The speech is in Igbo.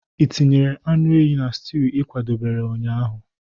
Ị tinyere anụ ehi na stew ị kwadebere ụnyaahụ?